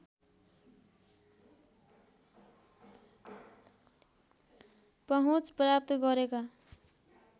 पहुँच प्राप्त गरेका